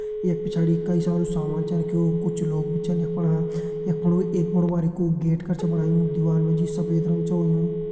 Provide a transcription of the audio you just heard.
यख पिछाड़ी कई सारू सामान छ रख्युं कुछ लोग भी छन यख फणा यख फणा एक बड़ु बारिकु गेट कर छो बणायु दीवाल मा जी सफेद रंग छ होयुं।